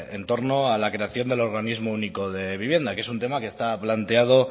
en torno a la creación del organismo único de vivienda que es un tema que está planteado